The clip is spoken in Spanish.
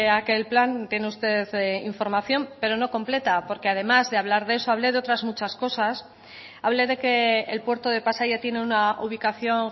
aquel plan tiene usted información pero no completa porque además de hablar de eso hable de otras muchas cosas hable de que el puerto de pasaia tiene una ubicación